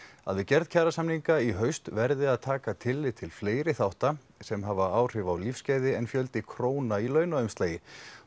að við gerð kjarasamninga í haust verði að taka tillit til fleiri þátta sem hafa áhrif á lífsgæði en fjölda króna í launaumslagi